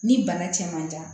Ni bana cɛ man jan